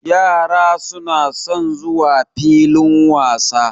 Yara suna son zuwa filin wasa.